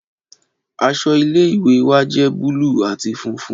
Aṣọ ile-iwe wa jẹ buluu ati funfun